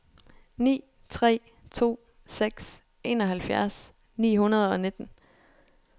ni tre to seks enoghalvfjerds ni hundrede og nitten